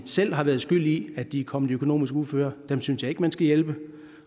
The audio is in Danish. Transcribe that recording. selv har været skyld i at de er kommet i økonomisk uføre dem synes jeg ikke man skal hjælpe